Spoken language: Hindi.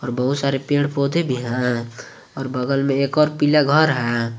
बहुत सारे पेड़ पौधे भी हैं और बगल में एक और पीला घर है।